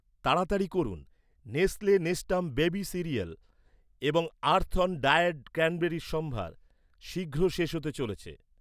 তাড়াতাড়ি করুন, Nestle Nestum baby cereal এবং আর্থঅন ড্রায়েড ক্র্যানবেরির সম্ভার শীঘ্রই শেষ হতে চলেছে৷